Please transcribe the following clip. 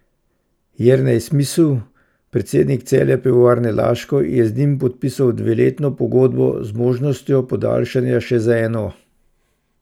Jernej Smisl, predsednik Celja Pivovarne Laško, je z njim podpisal dveletno pogodbo, z možnostjo podaljšanja še za eno.